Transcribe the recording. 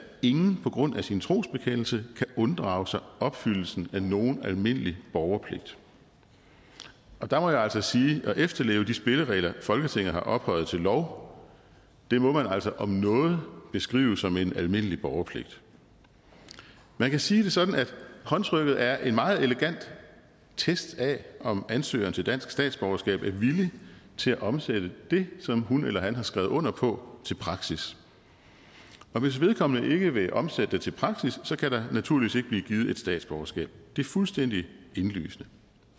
ingen på grund af sin trosbekendelse kan unddrage sig opfyldelsen af nogen almindelig borgerpligt der må jeg altså sige at efterleve de spilleregler folketinget har ophøjet til lov må man altså om noget beskrive som en almindelig borgerpligt man kan sige det sådan at håndtrykket er en meget elegant test af om ansøgeren til dansk statsborgerskab er villig til at omsætte det som hun eller han har skrevet under på til praksis hvis vedkommende ikke vil omsætte det til praksis kan der naturligvis ikke blive givet et statsborgerskab det er fuldstændig indlysende